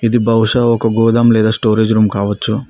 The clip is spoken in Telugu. ఇది బహుశా ఒక గోడౌన్ లేదా స్టోరేజ్ రూమ్ కావచ్చు.